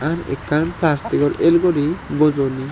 r ekkan plastic or el guri bojoni.